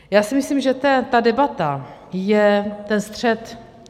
Já si myslím, že ta debata je ten střet.